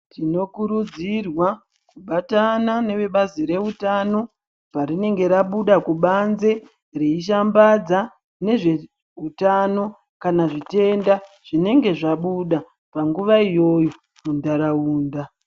Tinokurudzirwa kubatana neve bazi rezvehutano parinenge rabuda kubanze reishambadza nezvehutano kana zvitenda zvinenge zvabuda panguva iyoyo mundaraunda.